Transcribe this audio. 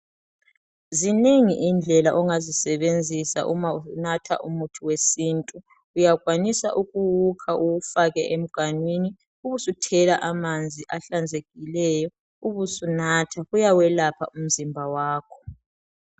Zinengi indlela ongazisebenzisa uma unatha umuthi wesintu. Uyakwanisa ukuwuka ubufake emganwini ubusithela emanzini ahlanzekileyo, ubusunatha, kuyawelapha umzimba wakho.